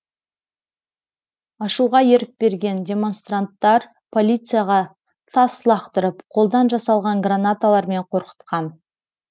ашуға ерік берген демонстранттар полицияға тас лақтырып қолдан жасалған гранаталармен қорқытқан